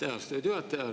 Aitäh, austatud juhataja!